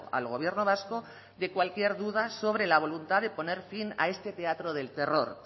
al gobierno vasco de cualquier duda sobre la voluntad de poner fin a este teatro del terror